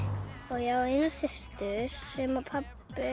ég á systur pabbi